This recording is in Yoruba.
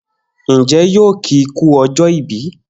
Njẹ yóò ki ku ọjọ ìbí?